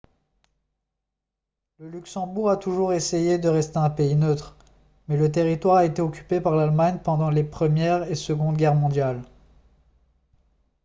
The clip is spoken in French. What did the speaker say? le luxembourg a toujours essayé de rester un pays neutre mais le territoire a été occupé par l'allemagne pendant les première et seconde guerres mondiales